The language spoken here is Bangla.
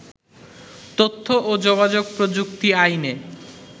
তথ্য ও যোগাযোগ প্রযুক্তি আইনে